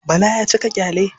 Bala ya cika ƙyale.